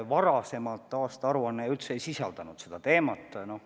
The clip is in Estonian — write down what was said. Varasemad aastaaruanded ju üldse ei sisaldanud seda teemat.